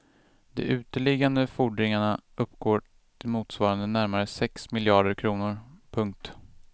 De uteliggande fordringarna uppgår till motsvarande närmare sex miljarder kronor. punkt